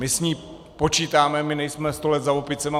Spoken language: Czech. My s ní počítáme, my nejsme sto let za opicemi.